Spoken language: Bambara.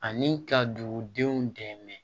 Ani ka dugudenw dɛmɛ